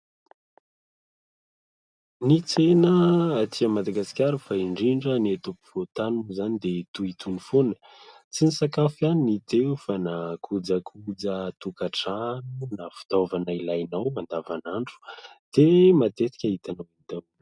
Ny tsena aty Madagasikara fa indrindra ny eto ampovoan-tany moa izany dia toy itony foana. Tsy ny sakafo ihany no hita eo fa na kojakoja tokantrano na fitaovana ilainao andavanandro dia matetika hitanao daholo.